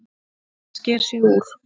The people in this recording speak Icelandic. Hann sker sig úr.